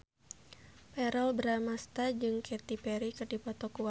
Verrell Bramastra jeung Katy Perry keur dipoto ku wartawan